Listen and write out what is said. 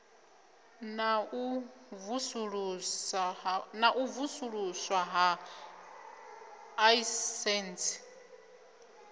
na u vusuluswa ha aisentsi